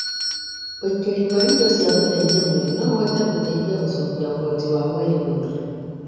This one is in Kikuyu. ũĩkĩri wa indo cia gũteithia mwĩrĩ noũhote gũteithia gũcokia ũhoti wa mwĩrĩ gũthiĩ